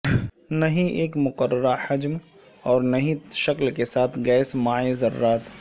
نہ ہی ایک مقررہ حجم اور نہ ہی شکل کے ساتھ گیس مائع ذرات